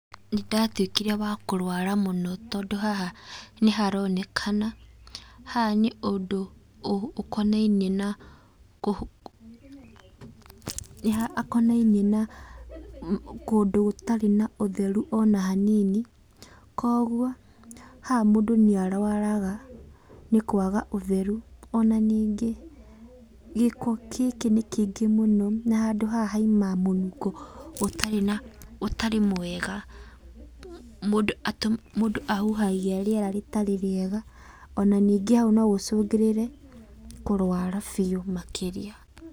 Nĩ ndatuĩkire wa kũrwara mũno, tondũ haha nĩ haronekana, haha nĩ ũndũ ũkonainie, ũkonainie na kũndũ gũtarĩ na ũtherũ ona hanini. Koguo haha mũndũ nĩ arũaraga nĩ kwaga ũtheru. Ona nĩngĩ gĩko gĩkĩ nĩ kĩingĩ mũno na haha haumaga mũnungo ũtarĩ na, ũtarĩ mwega. Mũngũ ahuhagia rĩera rĩtarĩ rĩega, ona nĩngĩ no hacũngĩrĩre kũrũara biũ makĩria.